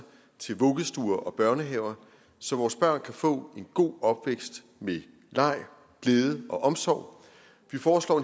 til vuggestuer og børnehaver så vores børn kan få en god opvækst med leg glæde og omsorg vi foreslår